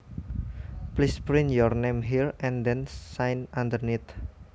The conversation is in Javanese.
Please print your name here and then sign underneath